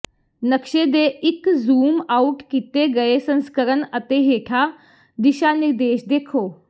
ਨਕਸ਼ੇ ਦੇ ਇੱਕ ਜ਼ੂਮ ਆਉਟ ਕੀਤੇ ਗਏ ਸੰਸਕਰਣ ਅਤੇ ਹੇਠਾਂ ਦਿਸ਼ਾ ਨਿਰਦੇਸ਼ ਦੇਖੋ